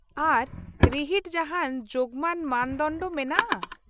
-ᱟᱨ, ᱨᱤᱦᱤᱴ ᱡᱟᱦᱟᱱ ᱡᱳᱜᱢᱟᱱ ᱢᱟᱱᱫᱚᱱᱰᱚ ᱢᱮᱱᱟᱜᱼᱟ ?